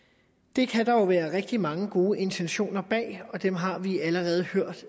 det kan der jo være rigtig mange gode intentioner bag og dem har vi allerede hørt